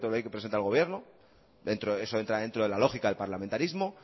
proyecto de ley que presenta el gobierno eso entra dentro de la lógica del parlamentarismo